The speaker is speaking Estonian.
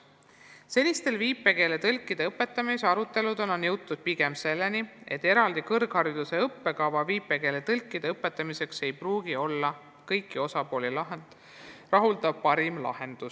" Senistel viipekeeletõlkide õpetamise aruteludel on jõutud pigem arvamuseni, et eraldi kõrghariduse õppekava viipekeeletõlkide õpetamiseks ei pruugi olla kõiki osapooli rahuldav parim lahendus.